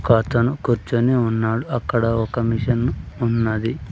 ఒక అతను కూర్చొని ఉన్నాడు అక్కడ ఒక మిషన్ ఉన్నది.